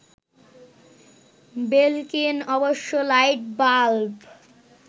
Belkin অবশ্য light bulb